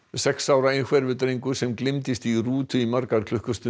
sex ára einhverfur drengur sem gleymdist í rútu í margar klukkustundir